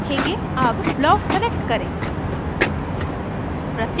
अब block select करें